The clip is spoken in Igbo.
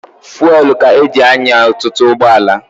Fuwelụ ka e ji anya ọtụtụ ụgbọala.